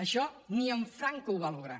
això ni en franco ho va lograr